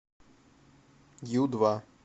ю два